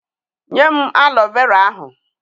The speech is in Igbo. Nye m alọ vera ahụ!